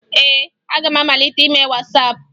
Ee, aga m amalite ime Wasaapụ